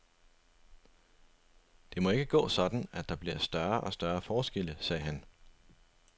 Det må ikke gå sådan, at der bliver større og større forskelle, sagde han.